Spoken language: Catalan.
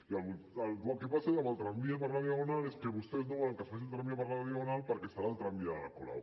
i el que passa amb el tramvia per la diagonal és que vostès no volen que es faci el tramvia per la diagonal perquè serà el tramvia de la colau